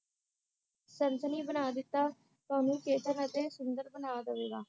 ਸਨਸਨੀ ਬਣਾ ਦਿੱਤਾ ਤੁਹਾਨੂੰ ਅਤੇ ਸੁੰਦਰ ਬਣਾ ਦਵੇਗਾ